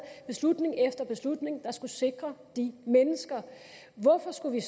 beslutning efter beslutning der skulle sikre de mennesker hvorfor skulle vi